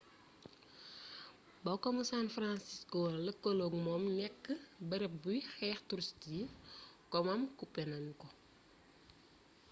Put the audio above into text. ba komu san francisco lëkkaloog moom nekk bërëb buy xëcc turist yi komam coppi nanu ko